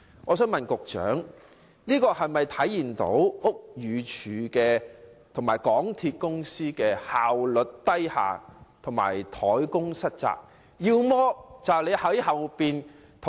我想請問局長，這是否反映屋宇署和港鐵公司效率偏低和怠工失責？